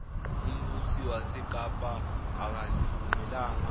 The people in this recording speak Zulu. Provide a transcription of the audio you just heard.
umbusi wasekapa akazivumelanga